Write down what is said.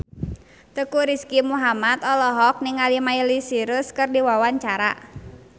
Teuku Rizky Muhammad olohok ningali Miley Cyrus keur diwawancara